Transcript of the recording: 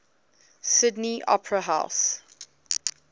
sydney opera house